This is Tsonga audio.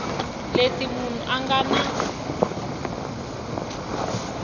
leti munhu a nga na